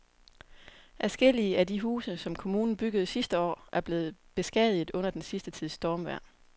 Adskillige af de huse, som kommunen byggede sidste år, er blevet beskadiget under den sidste tids stormvejr.